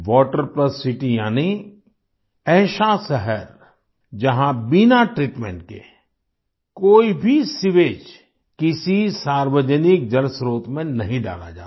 water plus city यानी ऐसा शहर जहाँ बिना ट्रीटमेंट के कोई भी सीवेज किसी सार्वजनिक जल स्त्रोत में नहीं डाला जाता